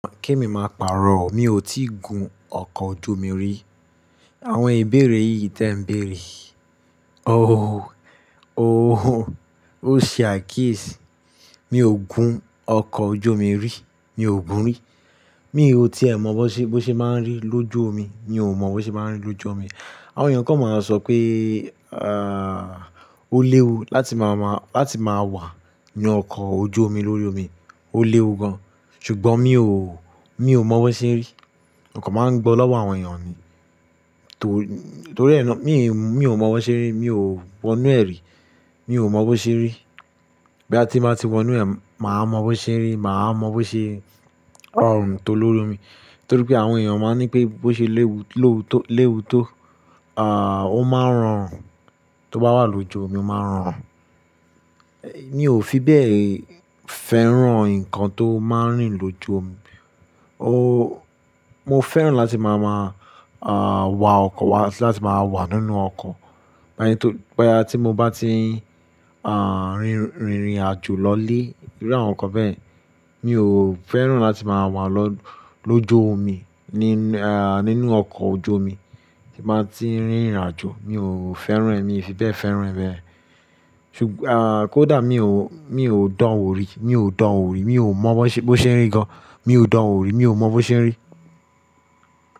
Ke mi máa pàrọ̀, mi ò tí ì gun ọkọ̀ ojú omi rí. Àwọn ìbéèrè yìí tí ẹ̀ ń béèrè, oh, oh, oh, ṣe akiyesi. Mi ò gun ọkọ̀ ojú omi rí, mi ò gun rí. Mi ò tí è mọ bó ṣe, bó ṣe máa ń rí lójú omi. Mi ò mọ bó ṣe máa ń rí lójú omi. Àwọn èèyàn kan máa ń sọ pé, ah, ó léwu láti máa mọ, láti máa wà ní ọkọ̀ ojú omi lórí omi, ó léwu gan. Ṣùgbọ́n mi ò, mi ò mọ bó ṣe n rí. Ọkọ̀ máa ń gbọ́ lọ́wọ́ àwọn èèyàn ni. Torí, torí ẹ ná-- mi, mi ò mọ bọ ṣe rí, mi ò wọ inú ẹ̀ rí. Mi ò mọ bó ṣe rí. Bí ya ti n bá ti wọ inú ẹ̀, màá mọ bó ṣen rí, màá mọ bó ṣe ọrùn tó lórí omi. Torí pé àwọn èèyàn máa ń ní pé bó ṣe léwu, léwu tó, léwu tó, ah, ó máa ń rọrùn. Tó bá wà lójú omi, ó máa ń rọrùn. Mi ò fi bẹ́ẹ̀ fẹ́ràn ǹkan tó máa ń rìn lójú omi. Oh, mo fẹ́ràn láti máa maa, ah, wà ọkọ̀, wá si láti máa wà nínú ọkọ̀. Báyìí tó, bóyá tí mo bá ti, ah, rìn, rìnrìn àjò lọlé iru àwọn nǹkan bẹ́yẹn, mi ò fẹ́ràn láti máa wà lọ́, lójú omi ní, ah, nínú ọkọ̀ ojú omi tí màá ti ń rìnrìn àjò. Mi ò fẹ́ràn ẹ́, mi ò fi bẹ́ẹ̀ fẹ́ràn ẹ́ bẹ́ẹ̀. Ṣùgbọ́n, ah, kódà mi ò, mi ò dán wo rí, mi ò dán wo rí, mi ò mọ bó ṣe, bó ṣe ń rí gan. Mi ò dán orí, mi ò mọ bó ṣe ń rí.